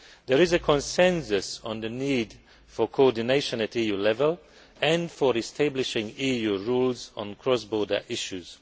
There is a consensus on the need for coordination at EU level and for establishing EU rules on cross border issues.